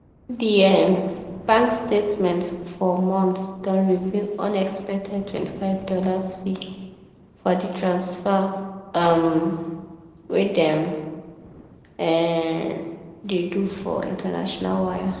the um bank statement for month don reveal unexpected twenty five dollars fee for the transfers um wey dem um dey do for international wire.